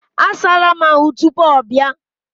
A saala m ahụ tupuu ọ bịa.